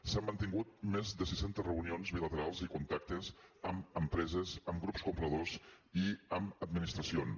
s’han mantingut més de sis centes reunions bilaterals i contactes amb empreses amb grups compradors i amb administracions